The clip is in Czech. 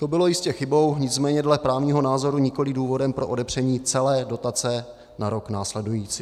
To bylo jistě chybou, nicméně dle právního názoru nikoliv důvodem pro odepření celé dotace na rok následující.